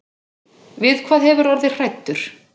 Við hvað hefurðu orðið hræddur.